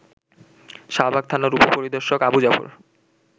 শাহবাগ থানার উপপরিদর্শক আবু জাফর